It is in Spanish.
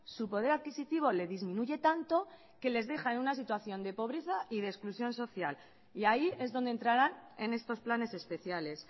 su poder adquisitivo le disminuye tanto que les deja en una situación de pobreza y de exclusión social y ahí es donde entrarán en estos planes especiales